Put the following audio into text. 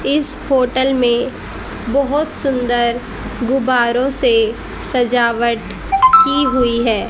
इस होटल में बहोत सुंदर गुब्बारों से सजावट की हुई है।